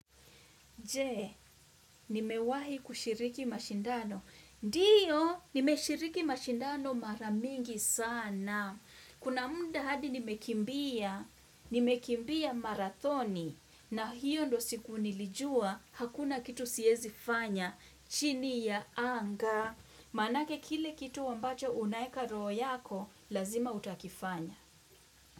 Je, nimewahi kushiriki mashindano. Ndio, nimeshiriki mashindano maramingi sana. Kuna muda hadi nimekimbia, nimekimbia marathoni. Na hiyo ndo siku nilijua, hakuna kitu siezi fanya. China, ya anga. Maanake kile kitu ambacho unaeka roho yako, lazima utakifanya.